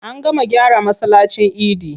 An gama gyara masallacin idi.